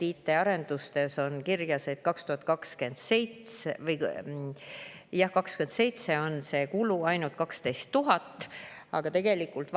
IT-arenduste kohta on kirjas, et 2027. aastal on nende kulu ainult 12 000 eurot.